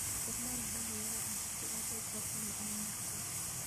Isticmaal buug-yaraha si aad u qorto macluumaadka.